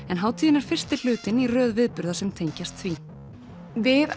en hátíðin er fyrsti hlutinn í röð viðburða sem tengjast því við